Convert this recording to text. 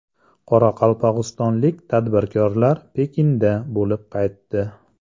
Qoraqalpog‘istonlik tadbirkorlar Pekinda bo‘lib qaytdi.